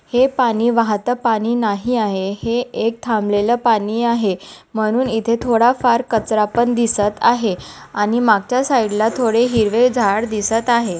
हे पानी वाहत पानी नाही आहे हे एक थांबलेल पानी आहे म्हणून इथे थोडा फार कचरा पण दिसत आहे आणि मागच्या साइडला थोडे हिरवे झाड दिसत आहे.